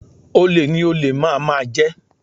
Olè ni olè máà máà jẹ